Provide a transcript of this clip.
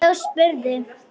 Þá spurði